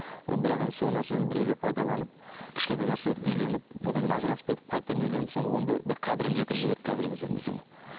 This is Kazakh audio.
ы бірақ енді сол нәрсені біреулер пайдаланып кішкентай нәрсе беріп үйленіп одан кейін ажырасып кетіп қайтадан үйленіп соны оны да бір қадірін кетіріп жіберді қазіргі кезде некенің